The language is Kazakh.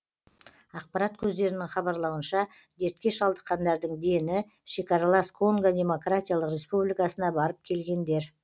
ақпарат көздерінің хабарлауынша дертке шалдыққандардың дені шекаралас конго демократиялық республикасына барып келгендер